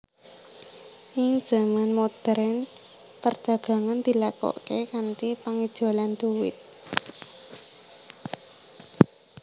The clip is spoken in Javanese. Ing zaman modhèrn perdagangan dilakokaké kanthi pangijolan dhuwit